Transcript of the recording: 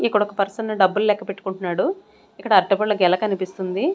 ఇక్కడ ఒక పర్సన్ డబ్బులు లెక్క పెట్టుకుంటున్నాడు ఇక్కడ అట్టిపండ్ల గెల కనిపిస్తుంది.